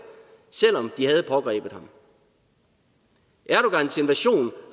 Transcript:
selv om de havde pågrebet ham erdogans invasion